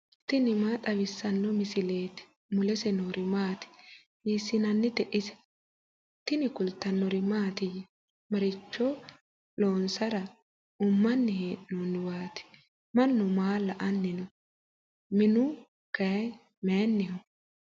tini maa xawissanno misileeti ? mulese noori maati ? hiissinannite ise ? tini kultannori mattiya? maricho loonisara ummanni hee'noonniwatti? Mannu maa la'anni noo? minu Kay mayiinniho?